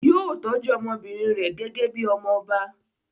Yóò tọ́jú ọmọbìnrin rẹ̀ gẹ́gẹ́ bí i ọmọ ọba.